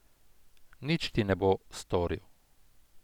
Nič ti ne bo storil.